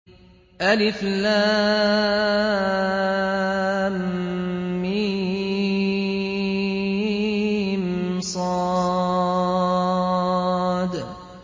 المص